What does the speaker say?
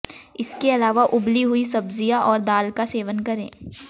इसके अलावा उबली हुई सब्जियां और दाल का सेवन करें